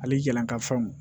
Hali jalankafaw